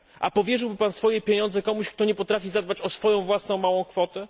Powierzyłby Pan swoje pieniądze komuś, kto nie potrafi zadbać o własną, małą kwotę?